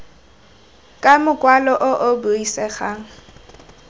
ka mokwalo o o buisegang